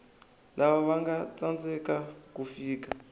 lava vanga tsandzeka ku fika